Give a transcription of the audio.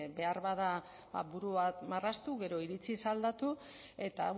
beharbada buru bat marraztu gero iritziz aldatu eta